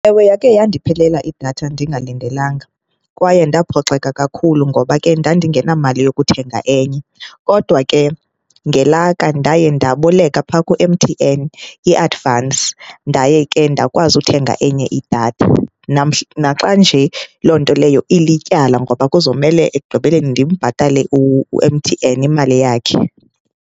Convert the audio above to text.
Ewe, yakhe yandiphelela idatha ndingalindelanga kwaye ndaphoxeka kakhulu ngoba ke ndandingenamali yokuthenga enye. Kodwa ke ngelaka ndaye ndaboleka phaa ku-M_T_N iadivansi. Ndaye ke ndakwazi uthenga enye idatha. Naxa nje loo nto leyo ilityala ngoba kuzomele ekugqibeleni ndimbhatale u-M_T_N imali yakhe.